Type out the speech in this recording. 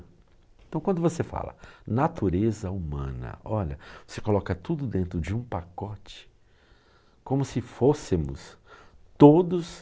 Então, quando você fala natureza humana, olha, você coloca tudo dentro de um pacote, como se fôssemos todos...